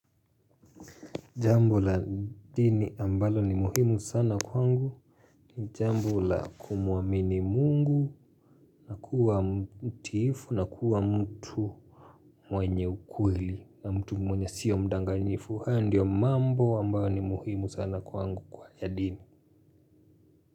Jambo la dini ambalo ni muhimu sana kwangu. Jambo la kumamini Mungu. Na kuwa mtiifu na kuwa mtu mwenye ukweli na mtu mwenye sio mdanganyifu. Haya ndiyo mambo ambayo ni muhimu sana kwangu, kwa ya dini.